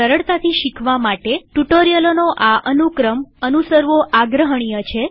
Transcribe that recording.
સરળતાથી શીખવા માટે ટ્યુ્ટોરીઅલોનો આ અનુક્રમ અનુસરવો આગ્રહણીય છે